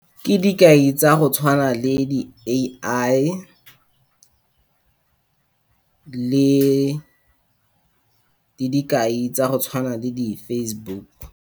Ke dikai tsa go tshwana le di-A_I, le, le di dikai tsa go tshwana le di-Facebook.